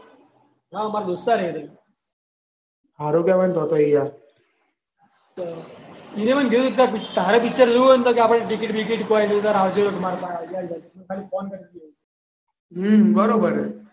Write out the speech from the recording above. હા માર દોસ્તાર છે એ રહ્યો. હારુ કેવાય તો તો યાર. તારે પિક્ચર જોવું હોય ને તો આપણે ટિકિટ બિકિટ કોઈ નહીં. આવજે માર પાહે ખાલી ફોન કરજે હ બરોબર છે